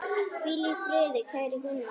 Hvíl í friði, kæri Gunnar.